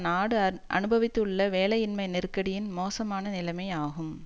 நாடு அனுபவித்துள்ள வேலையின்மை நெருக்கடியின் மோசமான நிலைமை ஆகும்